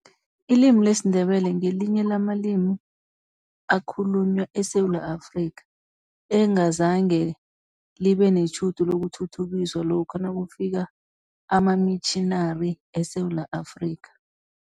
Ilimi lesiNdebele ngelinye lamalimi akhulunywa eSewula Afrika, engazange libe netjhudu lokuthuthukiswa lokha nakufika amamitjhinari eSewula Afrika.